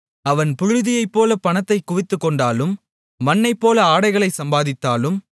அவன் புழுதியைப்போலப் பணத்தைக் குவித்துக்கொண்டாலும் மண்ணைப்போல ஆடைகளைச் சம்பாதித்தாலும்